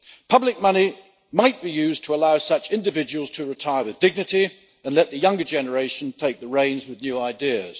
Public money might be used to allow such individuals to retire with dignity and let the younger generation take the reins with new ideas.